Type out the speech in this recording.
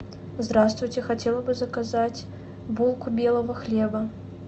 здравствуйте хотела бы заказать булку белого хлеба